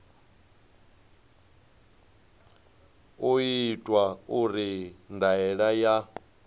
u itwa uri ndaela ya